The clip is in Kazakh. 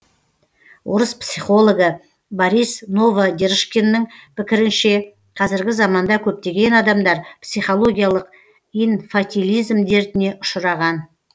орыс психологы борис новодержкиннің пікірінше қазіргі заманда көптеген адамдар психологиялық инфатилизм дертіне ұшыраған